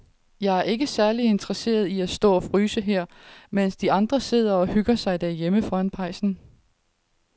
Jeg er ikke særlig interesseret i at stå og fryse her, mens de andre sidder og hygger sig derhjemme foran pejsen.